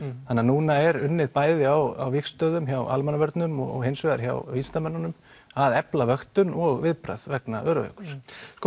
þannig að núna er unnið bæði á vígstöðum hjá Almannavörnum og hins vegar hjá vísindamönnunum að efla vöktun og viðbragð vegna Öræfajökuls